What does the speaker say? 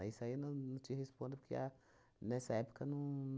Ah isso aí eu não não te respondo, porque a nessa época não